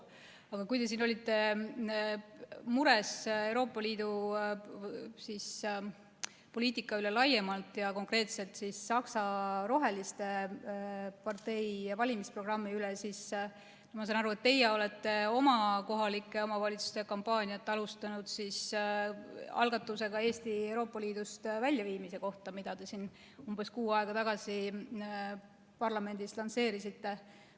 Aga kui te olite mures Euroopa Liidu poliitika pärast laiemalt ja konkreetselt Saksamaa roheliste partei valimisprogrammi pärast, siis ma sain aru, et teie olete oma kohalike omavalitsuste kampaaniat alustanud algatusega Eesti Euroopa Liidust väljaviimise kohta, mille te umbes kuu aega tagasi siin parlamendis lansseerisite.